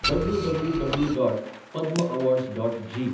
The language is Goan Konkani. W W W dot Padma awards dot जी.